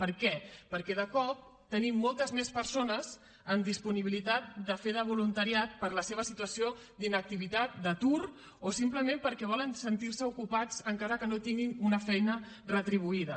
per què perquè de cop tenim moltes més persones amb disponibilitat de fer voluntariat per la seva situació d’inactivitat d’atur o simplement perquè volen sentirse ocupats encara que no tinguin una feina retribuïda